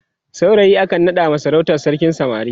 saurayi akan naɗawa sarautar sarkin samari